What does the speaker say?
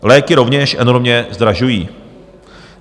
Léky rovněž enormně zdražují.